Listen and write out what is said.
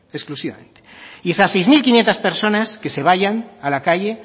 exclusivamente y esas seis mil quinientos personas que se vayan a la calle